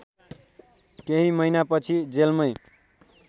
केही महीनापछि जेलमै